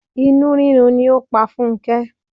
Inú rírun ni ó pa Funke.